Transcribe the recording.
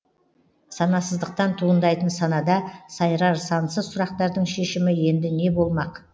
санасыздықтан туындайтын санада сайрар сансыз сұрақтардың шешімі енді не болмақ